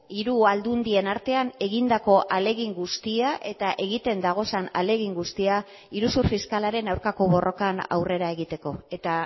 hiru aldundien artean egindako ahalegin guztia eta egiten dagozan ahalegin guztia iruzur fiskalaren aurkako borrokan aurrera egiteko eta